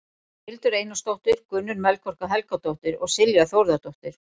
Hildur Einarsdóttir, Gunnur Melkorka Helgadóttir og Silja Þórðardóttir.